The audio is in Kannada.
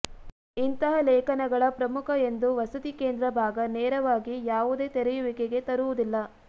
ಇಂತಹ ಲೇಖನಗಳ ಪ್ರಮುಖ ಎಂದು ವಸತಿ ಕೇಂದ್ರಭಾಗ ನೇರವಾಗಿ ಯಾವುದೇ ತೆರೆಯುವಿಕೆಗೆ ತರುವುದಿಲ್ಲ